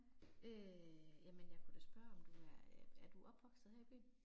Øh jamen jeg kunne da spørge om du er, er du opvokset her i byen?